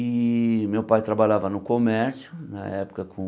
E meu pai trabalhava no comércio, na época com